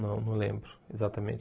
Não, não lembro exatamente.